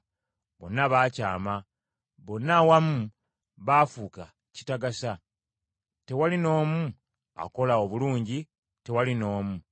Bonna baakyama, bonna awamu baafuuka kitagasa; tewali n’omu akola obulungi, tewali n’omu.”